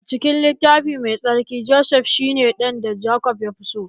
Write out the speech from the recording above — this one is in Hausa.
A cikin littafi mai tsarki, Josef shi ne ɗan da Jacob yafi so